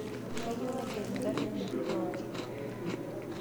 Kayieu naiger nkarin inji pooki